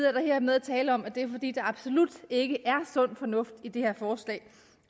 er der hermed tale om at det er fordi der absolut ikke er sund fornuft i det her forslag